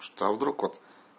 что вдруг вот